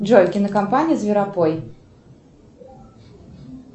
джой кинокомпания зверопой